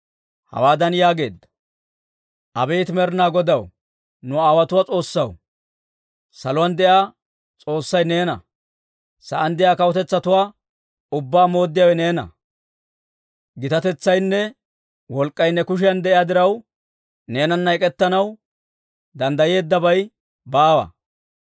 Hawaadan yaageedda, «Abeet Med'inaa Godaw, nu aawotuwaa S'oossaw, saluwaan de'iyaa S'oossay neena! Sa'aan de'iyaa kawutetsatuwaa ubbaa mooddiyaawe neena! Gitatetsaynne wolk'k'ay ne kushiyan de'iyaa diraw, neenana ek'ettanaw danddayeeddabay baawa.